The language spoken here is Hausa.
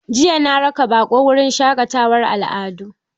Jiya na raka baƙo wurin shaƙatawar al'adu.